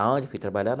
Aonde fui trabalhar?